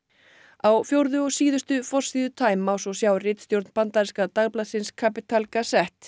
á fjórðu og síðustu forsíðu time má svo sjá ritstjórn bandaríska dagblaðsins Capital